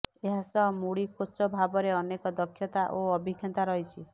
ଏହାସହ Moody coach ଭାବରେ ଅନେକ ଦକ୍ଷତା ଓ ଅଭିଜ୍ଞତା ରହିଛି